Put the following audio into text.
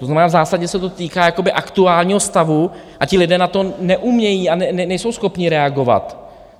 To znamená, v zásadě se to týká aktuálního stavu a ti lidé na to neumějí a nejsou schopni reagovat.